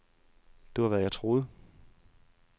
Det var, hvad jeg troede.